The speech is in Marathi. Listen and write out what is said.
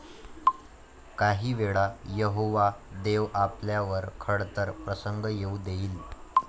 काही वेळा यहोवा देव आपल्यावर खडतर प्रसंग येऊ देईल.